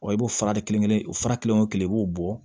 i b'o fara de kelen-kelen o fara kelen wo kelen i b'o bɔ